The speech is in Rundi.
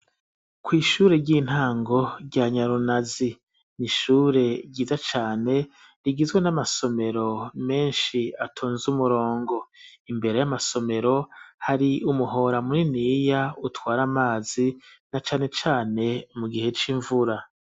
Kw'ishure ry'intango rya Nyarunazi n'ishure ryiza cane rigizwe n'amasomero meshi atonze umurongo imbere y'amasomero hari umuhora muniniya utwara amazi na cane cane mu gihe c'imvura.